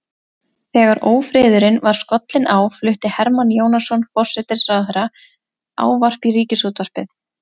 Þegar ófriðurinn var skollinn á flutti Hermann Jónasson forsætisráðherra ávarp í ríkisútvarpið.